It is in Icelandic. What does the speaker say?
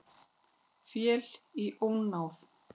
Féll í ónáð